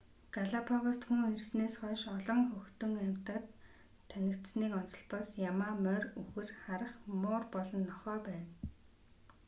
галапагост хүн ирсэнээс хойш олон хөтөн амьтад танигдсаныг онцолбоос ямаа морь үхэр харх муур болон нохой байна